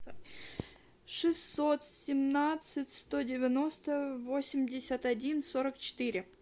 шестьсот семнадцать сто девяносто восемьдесят один сорок четыре